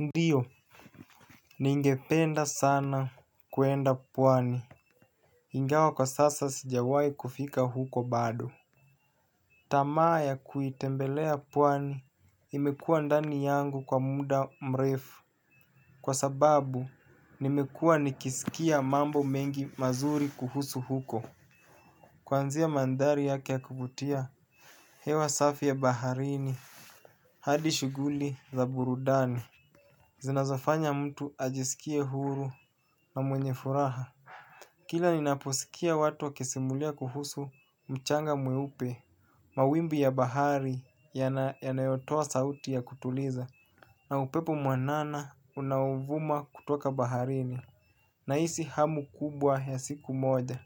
Ndiyo ningependa sana kwenda pwani ingawa kwa sasa sijawahi kufika huko bado. Tamaa ya kuitembelea pwani imekua ndani yangu kwa muda mrefu kwa sababu nimekuwa nikisikia mambo mengi mazuri kuhusu huko. Kuanzia mandhari yake ya kuvutia hewa safi ya baharini hadi shughuli za burudani zinazofanya mtu ajisikie huru na mwenye furaha. Kila ninaposikia watu wakisimulia kuhusu mchanga mweupe mawimbi ya bahari yanayotoa sauti ya kutuliza na upepo mwanana unaovuma kutoka baharini. Nahisi hamu kubwa ya siku moja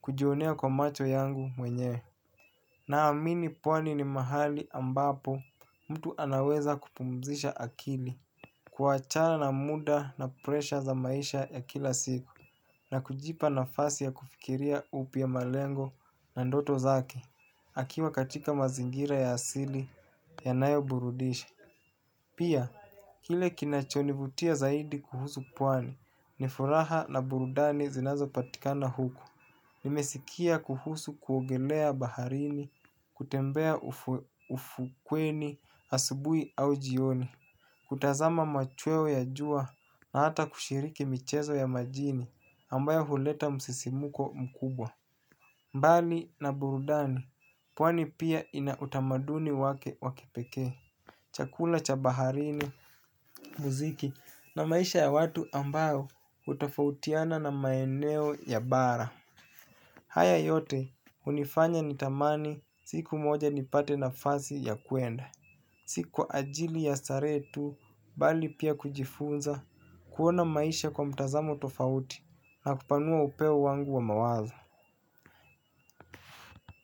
kujionea kwa macho yangu mwenyewe. Naamini pwani ni mahali ambapo mtu anaweza kupumzisha akili kuachana na muda na presha za maisha ya kila siku na kujipa nafasi ya kufikiria upya malengo na ndoto zake akiwa katika mazingira ya asili yanayoburudisha. Pia, kile kinachonivutia zaidi kuhusu pwani ni furaha na burudani zinazopatikana huku. Nimesikia kuhusu kuogelea baharini kutembea ufukweni asubuhi au jioni kutazama machweo ya jua na hata kushiriki michezo ya majini ambayo huleta msisimko mkubwa. Mbali na burudani pwani pia ina utamaduni wake wa kipekee chakula cha baharini muziki na maisha ya watu ambayo hutofautiana na maeneo ya bara. Haya yote hunifanya nitamani siku moja nipate nafasi ya kwenda. Si kwa ajili ya starehe tu bali pia kujifunza kuona maisha kwa mtazamo tofauti na kupanua upeo wangu wa mawazo.